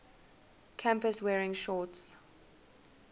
campus wearing shorts